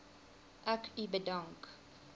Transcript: ek u bedank